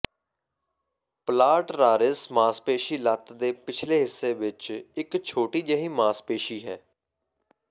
ਪਲਾਟਰਾਰਿਸ ਮਾਸਪੇਸ਼ੀ ਲੱਤ ਦੇ ਪਿਛਲੇ ਹਿੱਸੇ ਵਿੱਚ ਇਕ ਛੋਟੀ ਜਿਹੀ ਮਾਸਪੇਸ਼ੀ ਹੈ